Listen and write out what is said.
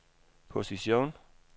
position